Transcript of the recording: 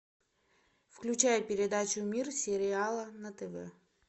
включай передачу мир сериала на тв